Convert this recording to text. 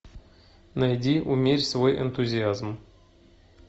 найди умерь свой энтузиазм